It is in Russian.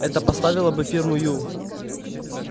это поставило бы фирму ю